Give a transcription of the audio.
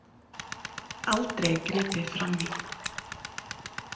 Aldrei gripið frammí.